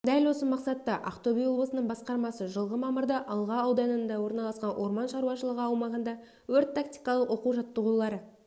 дәл осы мақсатта ақтөбе облысының басқармасы жылғы мамырда алға ауданында орналасқан орман шаруашылығы аумағында өрт-тактикалық оқу-жаттығулары